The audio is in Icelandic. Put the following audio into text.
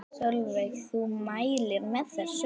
Sólveig: Þú mælir með þessu?